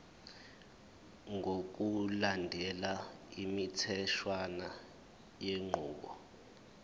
ngokulandela imitheshwana yenqubo